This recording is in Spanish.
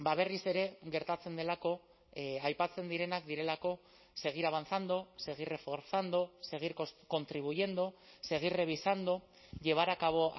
berriz ere gertatzen delako aipatzen direnak direlako seguir avanzando seguir reforzando seguir contribuyendo seguir revisando llevar a cabo